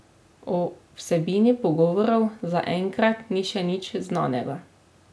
O vsebini pogovorov zaenkrat ni še nič znanega.